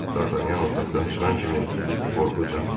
Dartanyan otaqdan çıxan kimi qorxu canına aldı.